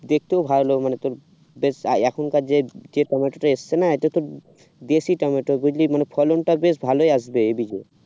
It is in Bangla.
দেখতেও ভালো লাগবে মানে তোর যে এখনকার যে যে টমেটো তো এসেছে না এত তো দেশি টমেটো বুঝলি মানে ফলনটা বেশ ভালই আসবে এদিকে